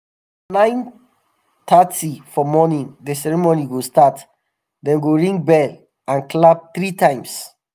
na nine thirty for morning the ceremony go start dem go ring bell and clap three times.